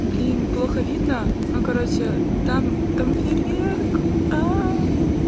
блин плохо видно но короче там там фейерверк